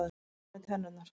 Ég er búinn með tennurnar.